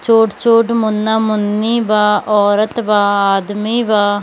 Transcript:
छोट-छोट मुन्ना-मुन्नी बा औरत बा आदमी बा।